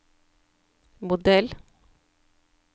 modell